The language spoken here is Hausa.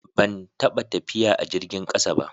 Ban taɓa tafiya a jirgin ƙasa ba.